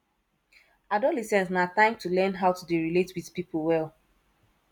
adolescence na time to learn how to dey relate wit pipo well